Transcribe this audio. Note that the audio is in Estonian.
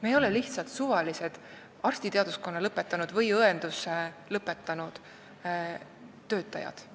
Me ei ole lihtsalt suvalised arstiteaduskonna või õenduse eriala lõpetanud töötajad.